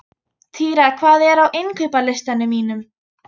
Týra, hvað er á innkaupalistanum mínum?